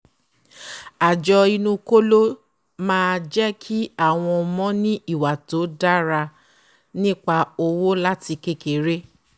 àjọ inú kóló máá jẹ́kí áwọn ọmọ ní ìwà tó dára nípa owó láti kékeré